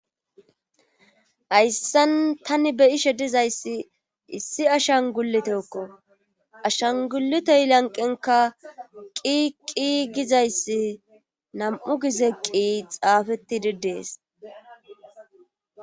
hayssan tani beyashe dizayssi issi ashan guletekko ashangulitey lanqenka qiqqi gizayssi nam''u gize qi xaafettidi dees.